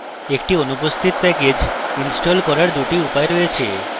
একটি অনুপস্থিত package install করার দুটি উপায় আছে